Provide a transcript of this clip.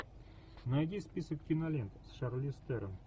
найди список кинолент с шарлиз терон